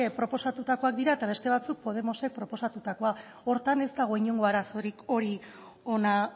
proposatutakoak dira eta beste batzuk podemosek proposatutako horretan ez da inongo arazorik